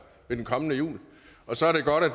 i den kommende jul og så er det godt at